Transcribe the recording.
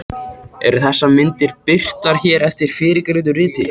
Eru þessar myndir birtar hér eftir fyrrgreindu riti.